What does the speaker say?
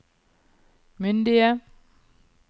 myndige